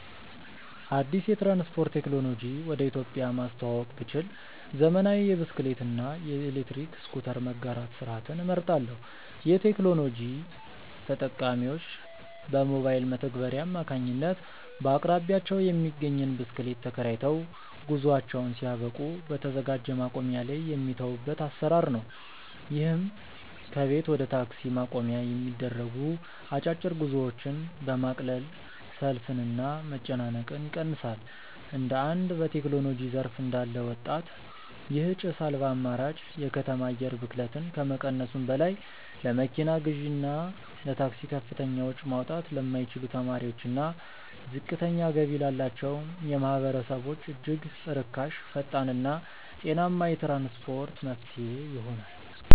አዲስ የትራንስፖርት ቴክኖሎጂ ወደ ኢትዮጵያ ማስተዋወቅ ብችል፣ ዘመናዊ የብስክሌት እና የኤሌክትሪክ ስኩተር መጋራት ስርዓትን እመርጣለሁ። ይህ ቴክኖሎጂ ተጠቃሚዎች በሞባይል መተግበሪያ አማካኝነት በአቅራቢያቸው የሚገኝን ብስክሌት ተከራይተው፣ ጉዟቸውን ሲያበቁ በተዘጋጀ ማቆሚያ ላይ የሚተዉበት አሰራር ነው። ይህም ከቤት ወደ ታክሲ ማቆሚያ የሚደረጉ አጫጭር ጉዞዎችን በማቅለል ሰልፍንና መጨናነቅን ይቀንሳል። እንደ አንድ በቴክኖሎጂ ዘርፍ እንዳለ ወጣት፣ ይህ ጭስ አልባ አማራጭ የከተማ አየር ብክለትን ከመቀነሱም በላይ፣ ለመኪና ግዢና ለታክሲ ከፍተኛ ወጪ ማውጣት ለማይችሉ ተማሪዎችና ዝቅተኛ ገቢ ላላቸው ማህበረሰቦች እጅግ ርካሽ፣ ፈጣንና ጤናማ የትራንስፖርት መፍትሄ ይሆናል።